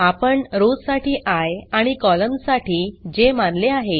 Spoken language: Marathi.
आपण रॉव्स साठी आय आणि कॉलम्न्स साठी जे मानले आहे